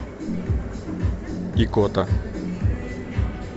икота